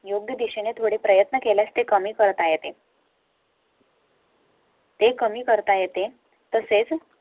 . योग्य दिशेने थोडे प्रयत्न केल्यास ते कमी करत आहे ते. ते कमी करता येते तसेच.